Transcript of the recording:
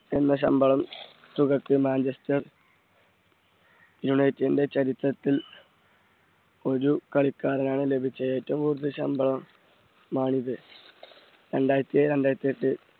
എന്ന ശമ്പളം തുകയ്ക്ക് മാഞ്ചസ്റ്റർ യുണൈറ്റഡിന്റെ ചരിത്രത്തിൽ ഒരു കളിക്കാരനാണ് ലഭിച്ച ഏറ്റവും കൂടുതൽ ശമ്പളം മാണിത് രണ്ടായിരത്തി ഏഴ് രണ്ടായിരത്തി എട്ട്